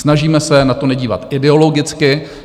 Snažíme se na to nedívat ideologicky.